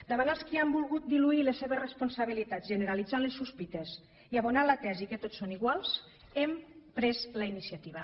davant els qui han volgut diluir la seva responsabilitat generalitzant les sospites i abonant la tesi que tots són iguals hem pres la iniciativa